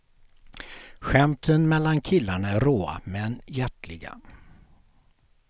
Skämten mellan killarna är råa men hjärtliga.